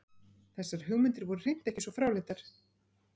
Þessar hugmyndir voru hreint ekki svo fráleitar.